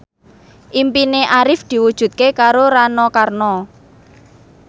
impine Arif diwujudke karo Rano Karno